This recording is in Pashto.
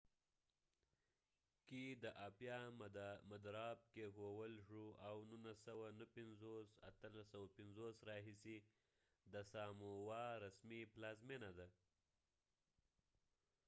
1850 کې د آپیا مدراب کېښول شو او 1959 راهیسې د سامووا رسمي پلازمېنه ده